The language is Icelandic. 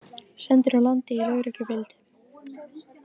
Sendir úr landi í lögreglufylgd